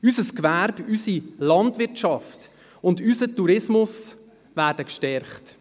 Unser Gewerbe, unsere Landwirtschaft und unser Tourismus würden gestärkt.